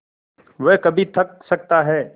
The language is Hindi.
वह कभी थक सकता है